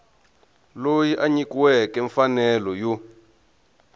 loyi a nyikiweke mfanelo yo